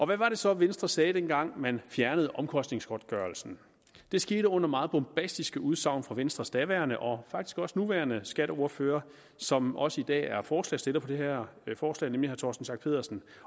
hvad var det så venstre sagde dengang man fjernede omkostningsgodtgørelsen det skete under meget bombastiske udsagn fra venstres daværende og faktisk også nuværende skatteordfører som også i dag er forslagsstiller på det her forslag nemlig torsten schack pedersen